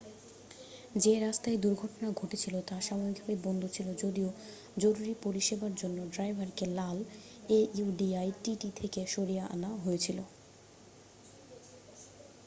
যে রাস্তায় দুর্ঘটনা ঘটেছিল তা সাময়িকভাবে বন্ধ ছিল যদিও জরুরি পরিষেবোর জন্য ড্রাইভারকে লাল audi tt থেকে সরিয়ে আনা হয়েছিল